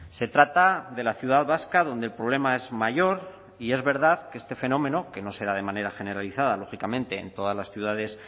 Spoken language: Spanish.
se trata de la ciudad vasca donde el problema es mayor y es verdad que este fenómeno que no será de manera generalizada lógicamente en todas las ciudades